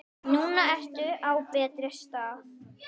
Núna ertu á betri stað.